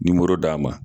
d'a ma